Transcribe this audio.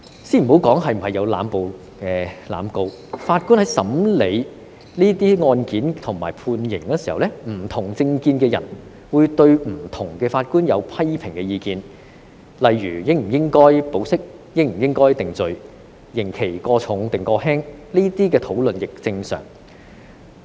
先不談論當中有否濫捕、濫告，法官在審理這些案件及判刑時，不同政見的人都會對不同的法官提出批評意見，例如應否批准保釋、應否予以定罪、刑期過重或過輕，這些討論亦屬正常。